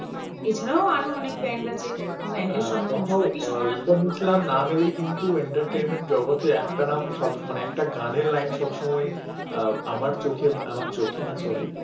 একটা নাম একটা গানের লাইন সবসময়ই আমার চোখে না আমার চোখে না sorry